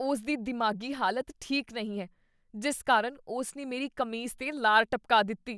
ਉਸ ਦੀ ਦਿਮਾਗ਼ੀ ਹਾਲਤ ਠੀਕ ਨਹੀਂ ਹੈ ਜਿਸ ਕਾਰਨ ਉਸ ਨੇ ਮੇਰੀ ਕਮੀਜ਼ ਦੇ ਲਾਰ ਟਪਕਾ ਦਿੱਤੀ।